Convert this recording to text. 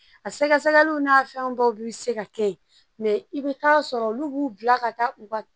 A sɛgɛsɛgɛliw n'a fɛn dɔw bi se ka kɛ yen i bi taa sɔrɔ olu b'u bila ka taa u ka